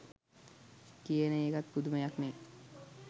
කියන එකත් පුදුමයක්නේ.